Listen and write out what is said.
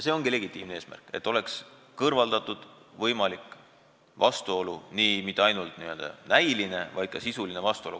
See ongi legitiimne eesmärk, et oleks kõrvaldatud võimalik vastuolu – mitte ainult näiline, vaid ka sisuline vastuolu.